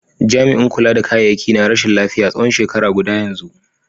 Jami'in kula da kayayyaki na rashin lafiya tsawon shekara guda yanzu.